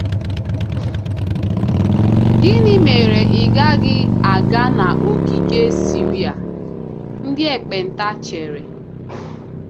um Gịnị mere ị gaghị aga n'ogige Siria?' ndị ekpenta chere.